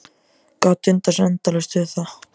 Gat dundað sér endalaust við það.